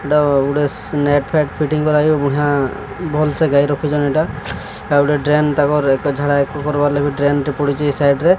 ଏଟା ଗୋଟେ ବୁଢା ଭଲସେ ଗାଈ ରଖୁଛନ୍ତି। ଏଟା ଗୋଟେ ଡ୍ରେନ ଏକ କରିବାର ଲାଗି ଏଟା ଗୋଟେ ଡ୍ରେନ ଟେ ପଡିଚି ସାଇଟ ରେ।